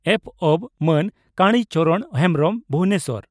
ᱯᱹᱵᱹ) ᱢᱟᱱ ᱠᱟᱲᱤ ᱪᱚᱨᱚᱬ ᱦᱮᱢᱵᱽᱨᱚᱢ (ᱵᱷᱩᱵᱚᱱᱮᱥᱚᱨ